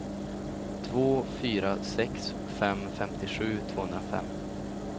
två fyra sex fem femtiosju tvåhundrafem